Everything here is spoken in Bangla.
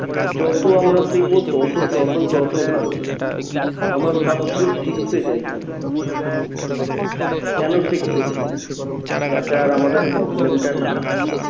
যত আমরা শিখবো তত তত তত ভালো আমরা সবকিছু শিখতে চাই খালি কেন শিখতে চাই? যাতে আর আমাদের problem টা না হয়